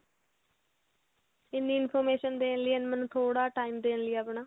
ਇੰਨੀ information ਦੇਣ ਲਈ and ਮੈਨੂੰ ਥੋੜਾ time ਦੇਣ ਲਈ ਆਪਣਾ